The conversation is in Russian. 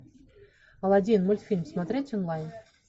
аладдин мультфильм смотреть онлайн